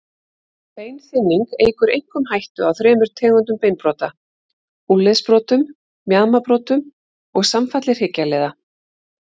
Beinþynning eykur einkum hættu á þremur tegundum beinbrota, úlnliðsbrotum, mjaðmarbrotum og samfalli hryggjarliða.